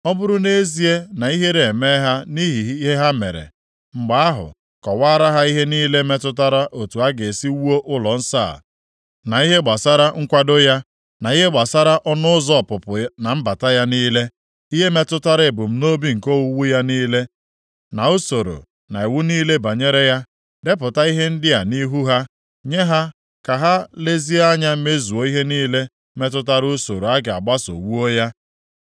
Ọ bụrụ nʼezie na ihere emee ha nʼihi ihe ha mere, mgbe ahụ, kọwaara ha ihe niile metụtara otu a ga-esi wuo ụlọnsọ a, na ihe gbasara nkwado ya, na ihe gbasara ọnụ ụzọ ọpụpụ na mbata ya niile, ihe metụtara ebumnobi nke owuwu ya niile na usoro na iwu niile banyere ya. Depụta ihe ndị a nʼihu ha, nye ha ka ha lezie anya mezuo ihe niile metụtara usoro a ga-agbaso wuo ya.